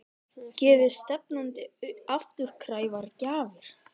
Gefi stefnandi afturkræfar gjafir?